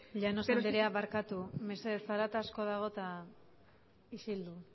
llanos andrea barkatu mesedez zarata asko dago isildu